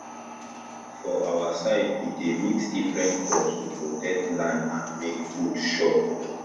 for our side we dey mix different crops to protect land and make food sure